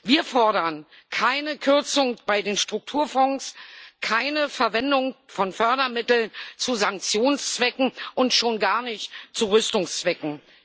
Wir fordern keine Kürzung bei den Strukturfonds, keine Verwendung von Fördermitteln zu Sanktionszwecken und schon gar nicht zu Rüstungszwecken.